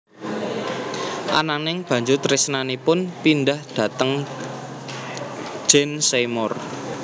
Ananging banjur tresnanipun pindah dhateng Jane Seymour